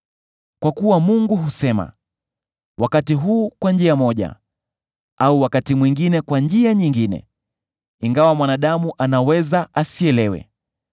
Kwa kuwa Mungu husema, wakati huu kwa njia moja, au wakati mwingine kwa njia nyingine, ingawa mwanadamu anaweza asielewe.